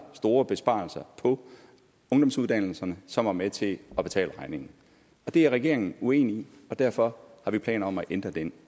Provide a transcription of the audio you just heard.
store besparelser på ungdomsuddannelserne som var med til at betale regningen og det er regeringen uenig i og derfor har vi planer om at ændre den